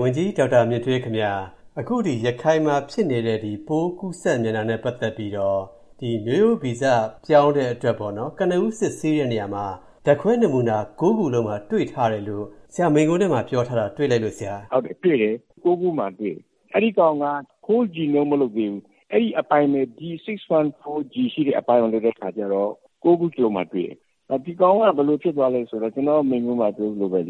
ဝန်ကြီး ဒေါက်တာမြင့်ထွေးခင်ဗျား၊ အခု ရခိုင်မှာဖြစ်နေတဲ့ ပိုးကူးစက်နေတာနဲ့ ပတ်သက်ပြီး မျိုးရိုးဗီဇ ပြောင်းတဲ့အတွက် ကနဦး စစ်ဆေးတဲ့ နေရာမှာ ဓာတ်ခွဲနမူနာ ၉ ခုလုံးမှာ တွေ့ထားတယ်လို့ ဆရာ မိန့်ခွန်းထဲမှာ ပြောထားတာ တွေ့လိုက်လို့ပါ။ “တွေ့တယ်၊ ၉ ခုမှာတွေ့တယ်။ အဲဒီကောင်က Whole Genome မလုပ်သေးဘူး။ အဲဒီအပိုင်းပဲ D614G ရှိတဲ့အပိုင်းကိုပဲ လုပ်တဲ့အခါကျတော့ ၉ ခုစလုံးမှာတွေ့တယ်။ ဒီကောင်က ဘယ်လိုဖြစ်သွားလဲဆိုတော့ ကျနော့်မိန့်ခွန်းမှာ ပြောသလိုပဲ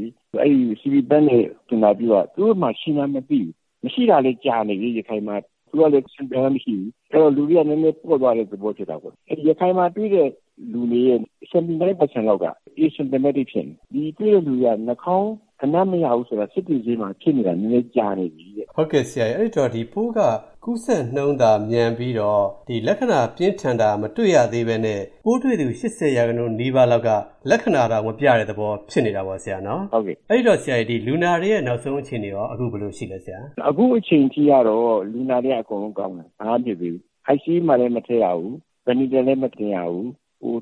CB Bank နဲ့ သူနာပြုက သူတို့မှာ ရှိမှန်းမသိဘူး။ မရှိတာလည်း ကြာနေပြီ ရခိုင်မှာ။ အဲတော့ လူတွေက နည်းနည်းပေါ့သွားတဲ့သဘော ဖြစ်တာပေါ့။ ရခိုင်မှာတွေ့တဲ့လူတွေရဲ့ ၇၉ ရာခိုင်နှုန်းလောက်က Asymptomatic ဖြစ်နေတယ်။ ဒီတွေ့တဲ့လူတွေက နှာခေါင်းအနံ့မရဘူးဆိုတာ စစ်တွေဈေးမှာ ဖြစ်နေတာ နည်းနည်းကြာနေပြီတဲ့။” ဒီပိုးက ကူးစက်နှုန်းသာ မြန်ပြီးတော့ လက္ခဏာပြင်းထန်တာ မတွေ့ရသေးဘဲနဲ့ ပိုးတွေ့သူ ၈၀ ရာခိုင်နှုန်း နီးပါးလောက်က လက္ခဏာတောင် မပြတဲ့သဘော ဖြစ်နေတာပေါ့။ “ဟုတ်ကဲ့။” အဲတော့ လူနာတွေရဲ့ နောက်ဆုံးအခြေအနေရော ဘယ်လိုရှိပါသလဲ။ “အခုအချိန်ထိကတော့ လူနာတွေက အကုန်လုံးကောင်းတယ်။ ဘာမှမဖြစ်သေးဘူး။ ICU မှာလည်း မထည့်ရဘူး၊ အသက်ရှူစက်လည်း မတင်ရဘူး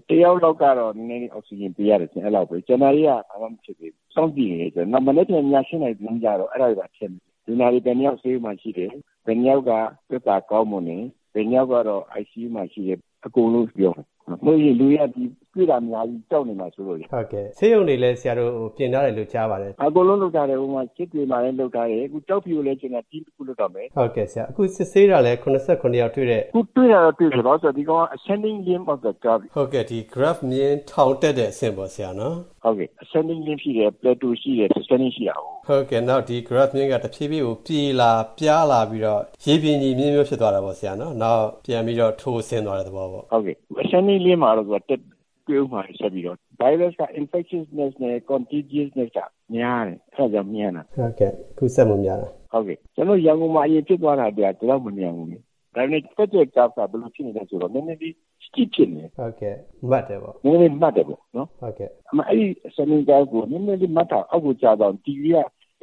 ။ တယောက်လောက်ကတော့ နည်းနည်းလေး အောက်ဆီဂျင်ပေးရတယ်၊ အဲဒီလောက်ပဲ။ ကျန်တာတွေက ဘာမှမဖြစ်သေးဘူး။ စောင့်ကြည့်နေတယ်။ မနက်ဖြန် ည ၈ နာရီသတင်းကျတော့ အဲဒါတွေပါထည့်မယ်။ လူနာတွေ ဘယ်နှစ်ယောက် ဆေးရုံမှာရှိတယ်၊ ဘယ်နှစ်ယောက်က သက်သာကောင်းမွန်တယ်၊ ဘယ်နှစ်ယောက်ကတော့ ICU မှာရှိတယ်၊ အကုန်လုံးပြောမယ်။ မဟုတ်ရင် လူတွေက ဒီ တွေ့တာများပြီး ကြောက်နေမှာစိုးလို့လေ။” ဆေးရုံတွေလည်း ဆရာတို့ ပြင်ထားတယ်လို့ ကြားပါတယ်။ “အကုန်လုံး လုပ်ထားတယ်၊ စစ်တွေမှာလည်း လုပ်ထားတယ်။ အခု ကျောက်ဖြူကိုလည်း ကျနော် အဖွဲ့တခုလွှတ်တော့မယ်။” အခုစစ်ဆေးတာလည်း ၇၇ ယောက် တွေ့တယ်ဆိုတော့။ “တွေ့တာတော့ တွေ့တယ်။ ဘာဖြစ်လို့လဲဆိုတော့ ဒီကောင်က ဂရပ်ဖ်မျဉ်း ထောင်တက်တဲ့အဆင့်ပေါ့။ နောက် ဒီဂရပ်ဖ်မျဉ်းက တဖြည်းဖြည်း ပြေလာ ပြားလာပြီးတော့ ရေပြင်ညီမျဉ်းမျိုး ဖြစ်သွားတာပေါ့၊ ပြန်ပြီးတော့ ထိုးဆင်းသွားတဲ့သဘောပေါ့။ ဂရပ်ဖ်မျဉ်း ထောင်တက်နေတဲ့ အဆင့်မှာတော့ တွေ့ဦးမှာပဲ ဆက်ပြီးတော့။ ဗိုင်းရပ်စ်က ကူးစက်မှုနှုန်း များတယ်၊ အဲဒါကြောင့် မြန်တာ။ ကျနော်တို့ ရန်ကုန်မှာ အရင်ဖြစ်သွားတာက ဒီလောက် မမြန်ဘူးလေ။ ဒါပေမယ့် တက်တဲ့နှုန်းက နည်းနည်း မတ်နေတယ်။ အဲဒီ မတ်နေတာက နည်းနည်းလေး အောက်ကို ကျသွားရင် ၈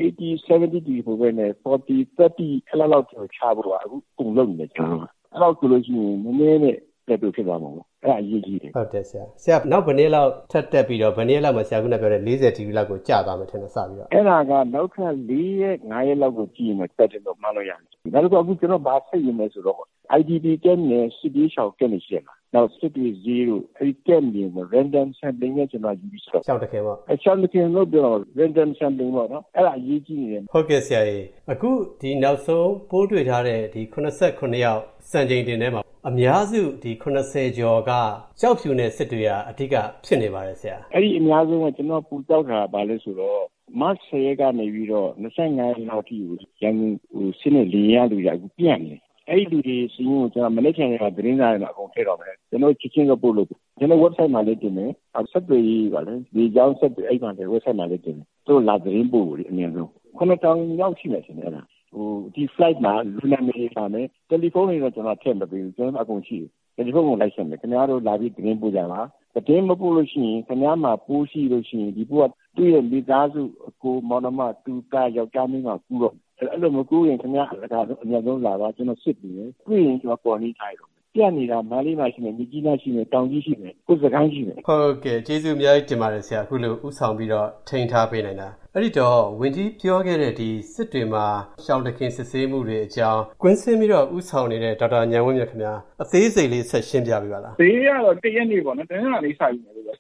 ၀၊ ၇၀ ဒီဂရီလောက် မဟုတ်ဘဲနဲ့ ၄၀၊ ၃၀ ဒီဂရီလောက်ချဖို့ အခု ကျနော်တို့ လုပ်နေတယ်။ အဲဒီလောက်ဆို နည်းနည်းဖြစ်သွားမှာပေါ့။ အဲဒါအရေးကြီးတယ်။” နောက် ဘယ်နှစ်ရက်လောက် ထပ်တက်ပြီးတော့ ဘယ်နှစ်ရက်လောက်မှာ ၄၀ ဒီဂရီလောက်အထိ ကျသွားမယ်လို့ ထင်ပါသလဲ။ “အဲဒါက နောက်ထပ် လေးရက်၊ ငါးရက်လောက် ကြည့်ပြီးမှ မှန်းလို့ရမယ်။ နောက်တခုက ကျနော်တို့ ဘာထပ်ယူရမလဲဆိုတော့ IDP ကမ့်ပ် နဲ့ စစ်ဘေးရှောင်ကမ့်ပ်တွေပေါ့၊ နောက် စစ်တွေဈေးတို့၊ အဲဒီကမ့်ပ်တွေမှာ ရှောင်တခင်ယူပြီး စစ်မယ်။ အဲဒါအရေးကြီးနေတယ်။” အခုနောက်ဆုံး ပိုးတွေ့ထားတဲ့ ၇၇ ယောက် စံချိန်တင်ထဲမှာ အများစု ၇၀ ကျော်က ကျောက်ဖြူနဲ့ စစ်တွေက အဓိက ဖြစ်နေပါတယ် ဆရာ။ “အဲဒီအများစုထက် ကျနော်ပိုကြောက်တာက မတ် ၁၀ ရက် ကတည်းက ၂၅ ရက်လောက်အထိကို ရန်ကုန်ဆင်းတဲ့ လေယာဉ်ကလူတွေက အခု ပျံ့နေတယ်။ အဲဒီလူတွေစာရင်းကို ကျနော် မနက်ဖြန် သတင်းစာထဲမှာ အကုန်ထည့်တော့မယ်။ ကျနော်တို့ကို ချက်ချင်းသတင်းပို့ဖို့။ ကျနော်တို့ ဝက်ဘ်ဆိုက်မှာလည်း တင်မယ်။ လေကြောင်းဆက်သွယ်ရေး ဝက်ဘ်ဆိုက်မှာလည်း တင်မယ်။ သူတို့ အမြန်ဆုံး လာသတင်းပို့ဖို့။ ၇၀၀၀ လောက်ရှိမယ်ထင်တယ် အဲဒါ။ ဒီဖလိုက်မှာ လူနာမည်တွေပါမယ်။ တယ်လီဖုန်းတွေတော့ ကျနော်တို့ ထည့်မပေးဘူး၊ ကျနော်တို့မှာ အကုန်ရှိတယ်။ တယ်လီဖုန်းတွေ လိုက်ဆက်မယ်။ ခင်ဗျားတို့ လာပြီး သတင်းပို့ကြပါ၊ သတင်းမပို့ဘဲ ခင်ဗျားမှာ ပိုးရှိလို့ရှိရင် ဒီပိုးက သူ့ရဲ့မိသားစု အစ်ကို မောင်နှမ တူ သား ယောက်ျား မိန်းမ ကူးတော့မယ်။ အဲဒီလို မကူးခင် အမြန်ဆုံးလာပါ။ ကျနော် စစ်ပေးမယ်။ တွေ့ရင် ကျနော် Quarantine ထားလိုက်တော့မယ်။ ပျံ့နေတာ မန္တလေးမှာရှိမယ်၊ မြစ်ကြီးနားရှိမယ်၊ တောင်ကြီးရှိမယ်၊ အခု စစ်ကိုင်းရှိမယ်။” ဟုတ်ကဲ့ ကျေးဇူးအများကြီးတင်ပါတယ် ဆရာ၊ အခုလို ဦးဆောင်ပြီးတော့ ထိန်းထားပေးနိုင်တာ။ အခု ဝန်ကြီးပြောခဲ့တဲ့ စစ်တွေမှာ ရှောင်တခင် စစ်ဆေးမှုတွေအကြောင်း ကွင်းဆင်းပြီးတော့ ဦးဆောင်နေတဲ့ ဒေါက်တာဉာဏ်ဝင်းမြင့်ခင်ဗျား၊ အသေးစိတ်လေး ဆက်ရှင်းပြပေးပါလား။ “ဈေးကတော့ တနင်္လာနေ့ စယူမယ်လို့တော့